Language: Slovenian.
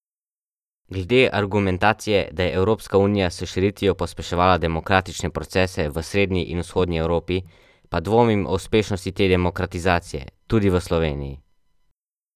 Glede argumentacije, da je Evropska unija s širitvijo pospeševala demokratične procese v srednji in vzhodni Evropi, pa dvomim o uspešnosti te demokratizacije, tudi v Sloveniji.